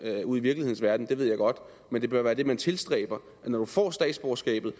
ude i virkelighedens verden ved jeg godt men det bør være det man tilstræber når du får statsborgerskabet